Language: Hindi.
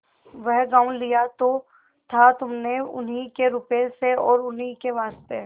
वह गॉँव लिया तो था तुमने उन्हीं के रुपये से और उन्हीं के वास्ते